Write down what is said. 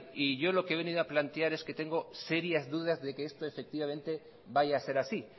y yo lo que he venido a plantear es que tengo serias dudas de que esto efectivamente vaya a ser así